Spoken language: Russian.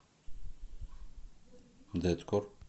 дэткор